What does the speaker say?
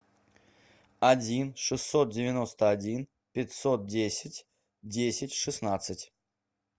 один шестьсот девяносто один пятьсот десять десять шестнадцать